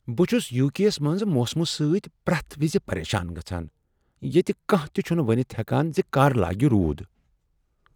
بہٕ چُھس U K یس منز موسمہٕ سۭتۍ پرٛیتھ وز پریشان گژھان ییٚتہ کانٛہہ تہ چھنہٕ ؤنتھ ہیکان ز کر لاگہ روٗد۔